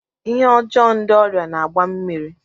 Ihe ọjọọ ndị ọrịa na-agba mmiri.